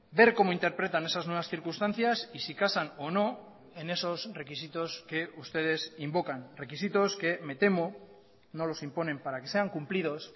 ver como interpretan esas nuevas circunstancias y si casan o no en esos requisitos que ustedes invocan requisitos que me temo no los imponen para que sean cumplidos